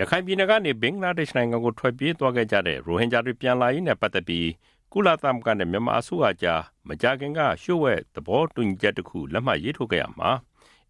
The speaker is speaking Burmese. ရခိုင်ပြည်နယ်ကနေ ဘင်္ဂလားဒေ့ရှ်နိုင်ငံကို ထွက်ပြေးသွားကြတဲ့ ရိုဟင်ဂျာတွေ ပြန်လာရေးနဲ့ ပတ်သက်ပြီး ကုလသမဂ္ဂနဲ့ မြန်မာအစိုးရအကြား မကြာခင်က လျှို့ဝှက်သဘောတူညီချက်တစ်ခု ရေးထိုးခဲ့ရာမှာ